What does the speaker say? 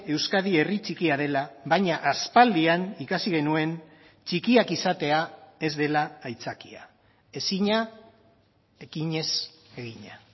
euskadi herri txikia dela baina aspaldian ikasi genuen txikiak izatea ez dela aitzakia ezina ekinez egina